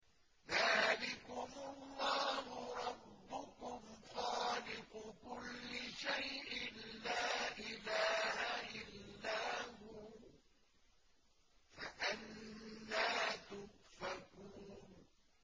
ذَٰلِكُمُ اللَّهُ رَبُّكُمْ خَالِقُ كُلِّ شَيْءٍ لَّا إِلَٰهَ إِلَّا هُوَ ۖ فَأَنَّىٰ تُؤْفَكُونَ